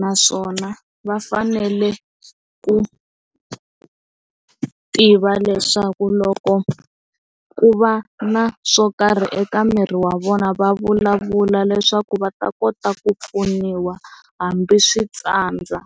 naswona va fanele ku tiva leswaku loko ku va na swo karhi eka miri wa vona va vulavula leswaku va ta kota ku pfuniwa hambi swi tsandza.